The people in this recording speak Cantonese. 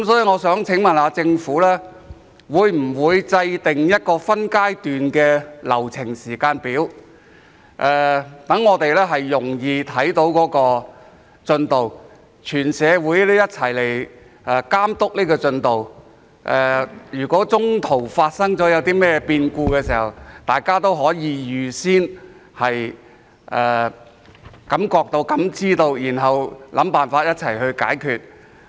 我想問政府會否制訂一個分階段的流程時間表，讓我們容易看到進度，讓全社會一起監督進度；若中途發生任何變故，大家也可預先感覺、感知，然後想辦法一起解決。